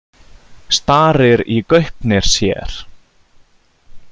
Starir í gaupnir sér.